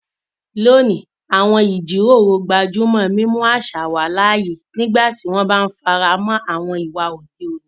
Lónìí, àwọn ìjíròrò gbájú mọ́ mímú àṣà wà láàyè nígbà tí wọ́n bá ń fara mọ́ àwọn ìwà òde òní.